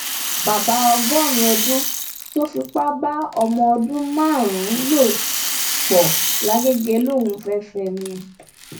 bàbá ọgọrin ọdún tó fipá bá ọmọ ọdún márùnún lò pọ làgẹgẹ lòún fẹẹ fẹ ẹ ni